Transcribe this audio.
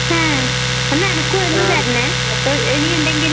ഉം ഒന്ന് എനക്ക് ഒരെണ്ണം തരണേ ഇനി ഇണ്ടെങ്കില്.